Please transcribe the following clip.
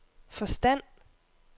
forstand